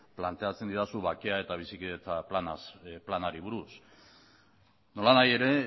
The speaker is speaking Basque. planteatzen didazu bakea eta bizikidetza planari buruz nolanahi ere